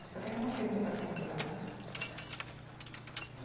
Acho que até que eu não fiz muita censura, não.